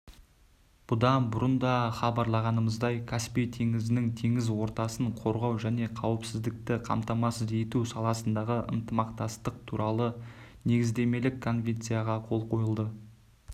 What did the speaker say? бұдан бұрын да хабарлағанымыздай каспий теңізінің теңіз ортасын қорғау және қауіпсіздікті қамтамасыз ету саласындағы ынтымақтастық туралы негіздемелік конвенцияға қол қойылды